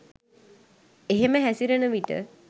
එහෙම හැසිරෙන විට